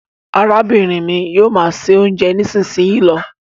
arábìnrin mí yóò má ṣe oúnjẹ nisinyi ló.